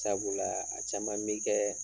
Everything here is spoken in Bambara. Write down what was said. Sabula a caman bi kɛ